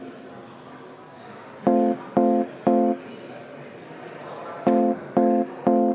Istungi lõpp kell 12.40.